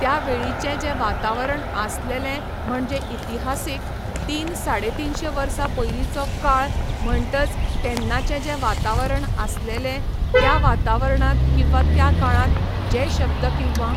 त्या वेळीचें जें वातावरण आसलेलें म्हणजे इतिहासीक, तीन साडे तिनशें वर्सां पयलींचो काळ म्हणटच तेन्नाचें जें वातावरण आसलेलें, त्या वातावरणांत किंवा त्या काळांत जे शब्द किंवा